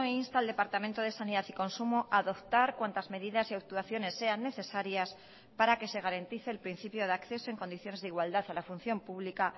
insta al departamento de sanidad y consumo a adoptar cuantas medidas y actuaciones sean necesarias para que se garantice el principio de acceso en condiciones de igualdad a la función pública